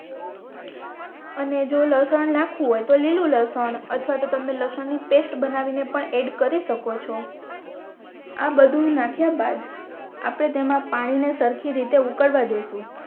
અને જો લસણ નાખવું હોય તો લીલુ લસણ અથવા તો તમે લશન ની પેસ્ટ બનાવીને પણ એડ કરી શકો છો આ બધુ નાખીયા બાદ આપણે તેમા પાણી ની સરખી રીતે ઉકળવા દેસુ